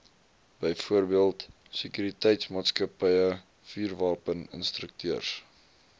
byvoorbeeld sekuriteitsmaatskappye vuurwapeninstrukteurs